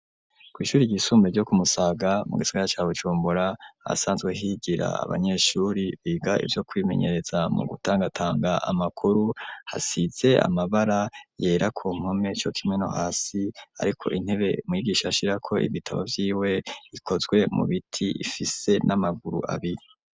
Kw'ishuri ryisumbe ryo ku Musaga mu gisagara ca Bujumbura, ahasanzwe higira abanyeshuri biga ivyo kwimenyereza mu gutangatanga amakuru, hasize amabara yera ku mpome co kimwe no hasi, ariko intebe mwigisha ashirako ibitabo vyiwe ikozwe mu biti, ifise n'amaguru abiri.